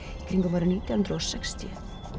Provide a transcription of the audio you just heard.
kringum árið nítján hundruð og sextíu